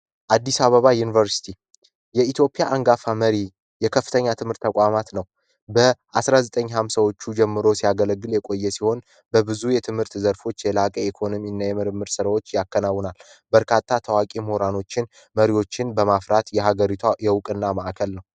አዲስ አባባ ዩኒቨrሲቲ የኢትዮጵያ አንጋፋ መሪ የከፍተኛ ትምህር ተቋማት ነው በ 1950ዎቹ ጀምሮ ሲያገለግል የቆየ ሲሆን በብዙ የትምህርት ዘርፎች የላቀ ኢኮኖሚ እና የምርምር ስራዎች ያከናውናል በርካታ ታዋቂ ሞራኖችን መሪዎችን በማፍራት የሃገሪቷ የውቅእና መዕከል ነው።